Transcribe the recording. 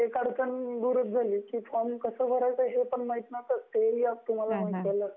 अड़चन दूर झाली की फॉर्म कसा भरायचा हे तुम्हाला माहित नव्हत ते आता माहीत झाल आणि